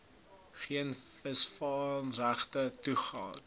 geen visvangregte toegeken